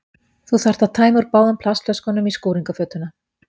Þú þarft að tæma úr báðum plastflöskunum í skúringafötuna.